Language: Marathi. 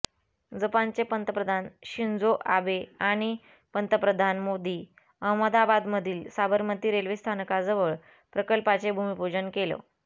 जपानचे पंतप्रधान शिंजो आबे आणि पंतप्रधान मोदी अहमदाबादमधील साबरमती रेल्वे स्थानकाजवळ प्रकल्पाचे भूमीपूजन केलं